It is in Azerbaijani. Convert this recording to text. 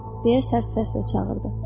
Deyə sərt səslə çağırdı.